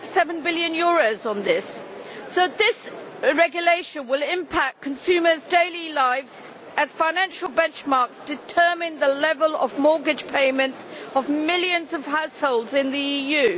1.7 billion for this. This regulation will impact consumers' daily lives, as financial benchmarks determine the level of the mortgage payments of millions of households in the EU.